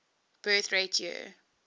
birth rate year